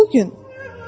Bu gün.